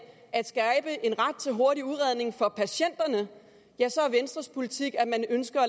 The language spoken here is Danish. at skabe en ret til hurtig udredning for patienterne ja så er venstres politik at de ønsker at